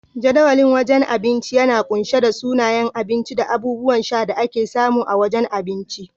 Jadawalin wajen abinci yana kunshe da sunayen abinci da abubuwan sha da ake samu a wajen abinci.